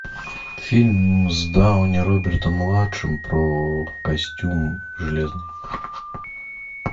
фильм с дауни робертом младшим про костюм железный